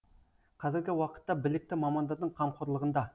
қазіргі уақытта білікті мамандардың қамқорлығында